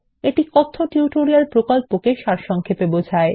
এটি কথ্য টিউটোরিয়াল প্রকল্পকে সারসংক্ষেপে বোঝায়